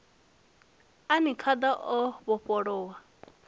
a ni khada o vhofholowa